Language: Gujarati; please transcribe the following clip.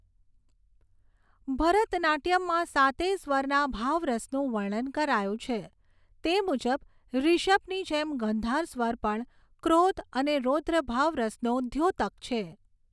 ભરતનાટ્યમમાં સાતેય સ્વરના ભાવ રસનું વર્ણન કરાયું છે તે મુજબ ૠષભની જેમ ગંધાર સ્વર પણ ક્રોધ અને રૌદ્ર ભાવ રસનો દ્યોતક છે.